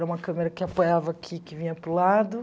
Era uma câmera que apoiava aqui, que vinha para o lado.